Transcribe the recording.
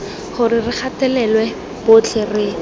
gore re gatelela botlhe re